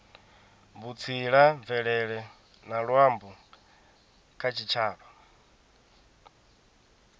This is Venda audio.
vhutsila mvelele na luambo kha tshitshavha